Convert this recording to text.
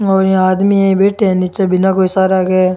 और यहाँ आदमी यहीं बैठे है निचे बिना कोई सहारा के।